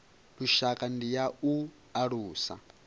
lushaka ndi ya u alusa